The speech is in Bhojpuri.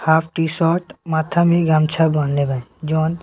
हाफ टी-शर्ट माथा में गमछा बन्हले बा जउन --